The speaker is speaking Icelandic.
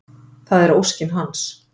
Það er óskin hans.